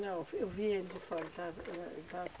Não, eu fui eu vi ele de fora, ele estava